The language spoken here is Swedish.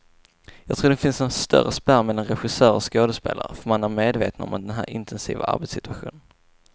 Jag tror det finns en större spärr mellan regissörer och skådespelare, för man är medvetna om den här intensiva arbetssituationen.